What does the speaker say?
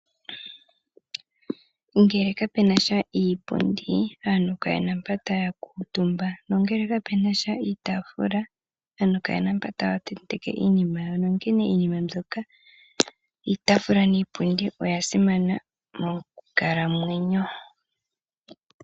Ngele kapenasha iipundi aantu kayena mpoka taya kuutumba nongeke kapenasha iitaafula aantu kayena mpa taya tenteke iinima yawo onkene iinima mbyoka iitaafula niipundi oya simana mokukalamwenyo.